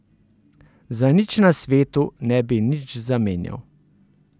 Za nič na svetu ne bi nič zamenjal.